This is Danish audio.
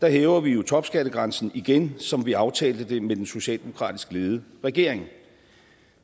hæver vi topskattegrænsen igen som vi aftalte det med den socialdemokratisk ledede regering